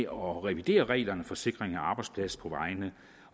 om at revidere reglerne for sikring af arbejdspladser på vejene